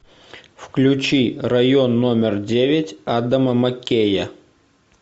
включи район номер девять адама маккея